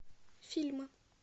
фильмы